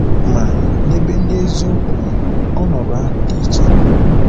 Ma, n’ebe ndị eziokwu nọ, ọnọdụ ahụ dị iche.